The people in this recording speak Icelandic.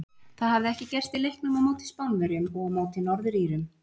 Það hafði ekki gerst í leiknum á móti Spánverjum og á móti Norður Írum.